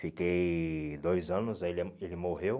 Fiquei dois anos, aí ele ah ele morreu.